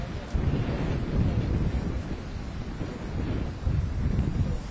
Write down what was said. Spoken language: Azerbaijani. Bu da yəni gözəl yəni qəşəng yəni bir yerdir.